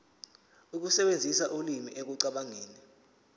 ukusebenzisa ulimi ekucabangeni